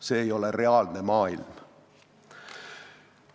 See ei ole reaalne maailm.